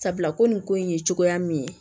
Sabula ko nin ko in ye cogoya min ye